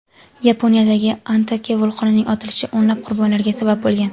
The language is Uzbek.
Yaponiyadagi Ontake vulqonining otilishi o‘nlab qurbonlarga sabab bo‘lgan.